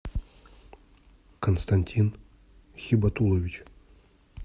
константин хибатулович